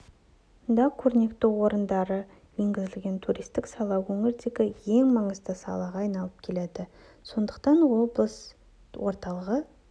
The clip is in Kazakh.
да көрнекті орындары енгізілген туристік сала өңірдегі ең маңызды салаға айналып келеді сондықтан облыс орталығы